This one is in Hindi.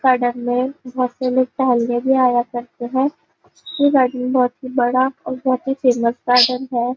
गार्डन में बहुत से लोग टहलने भी आया करते है यह गार्डन बहुत ही बड़ा और बहुत ही फेमस गार्डन है।